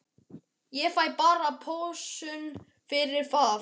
Ég fæ bara pössun fyrir það.